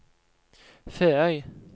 Feøy